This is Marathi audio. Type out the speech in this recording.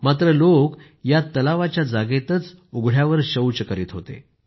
मात्र लोक या तलावाच्या जागेतच उघड्यावर शौच करीत होते